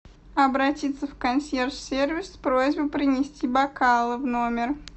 обратиться в консьерж сервис с просьбой принести бокалы в номер